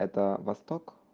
это восток